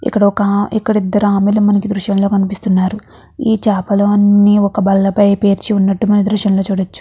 ఇక్కడ ఒక ఇక్కడ ఇద్దరు ఆమె లు మనకి ఈ దృశ్యం లో కనిపిస్తున్నారు ఈ చేపలు అన్నీ ఒక బల్ల పై పేర్చినట్టు మనం ఈ దృశ్యం లో చూడచ్చు.